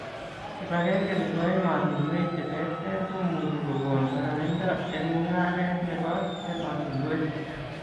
Kipakenge nebo emotunuek cheterter komuchu kokon boroindo eng' mung'aret nebo emotunuek